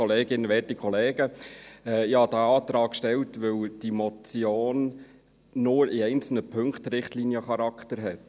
Ich habe diesen Antrag gestellt, weil die Motion nur in einzelnen Punkten Richtliniencharakter hat.